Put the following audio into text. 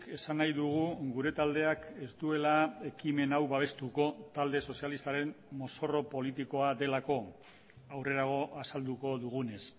esan nahi dugu gure taldeak ez duela ekimen hau babestuko talde sozialistaren mozorro politikoa delako aurrerago azalduko dugunez